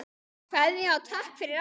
Kveðja og takk fyrir allt.